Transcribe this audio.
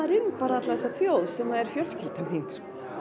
inn þessa þjóð sem er fjölskyldan mín